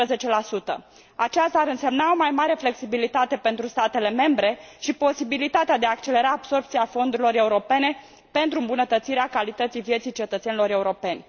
15. Aceasta ar însemna o mai mare flexibilitate pentru statele membre și posibilitatea de a accelera absorbția fondurilor europene pentru îmbunătățirea calității vieții cetățenilor europeni.